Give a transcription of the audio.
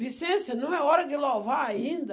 Vicência, não é hora de louvar ainda.